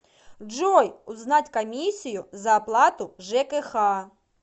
джой узнать комиссию за оплату жкх